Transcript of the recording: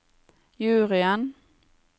juryen